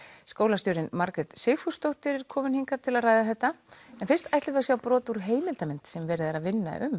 skólastjórinn Margrét Sigfúsdóttir er komin hingað til að ræða þetta er fyrst ætlum við að sjá brot úr heimildarmynd sem verið er að vinna um